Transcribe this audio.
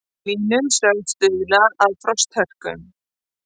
Hlýnun sögð stuðla að frosthörkum